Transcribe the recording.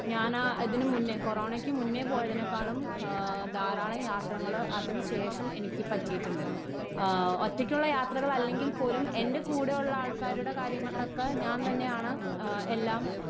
Speaker 1 ഞാനാ ആ ഇതിനു മുന്നേ കോറോണക്ക് മുന്നേ പോയതിനേക്കാളും ആ ധാരാളം യാത്രകൾ അതിനു ശേഷം എനിക്ക് പറ്റിയിട്ടുണ്ട്. ആ ഒറ്റക്കുള്ള യാത്രകളല്ലെങ്കിൽ പോലും എൻ്റെ കൂടെയുള്ള ആൾക്കാരുടെ കാര്യങ്ങളൊക്കെ ഞാൻ തന്നെയാണ് ആ എല്ലാം.